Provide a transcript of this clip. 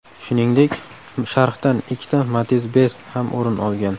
Shuningdek, sharhdan ikkita Matiz Best ham o‘rin olgan.